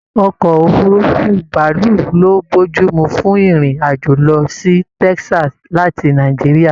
Ọkọ òfurùnfu bàálù lo bojumu fún ìrìn àjò lọ sí Texas láti Nàìjíríà.